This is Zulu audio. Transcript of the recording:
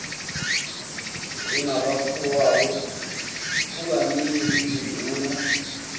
njengabafowabo kukaningi izinduna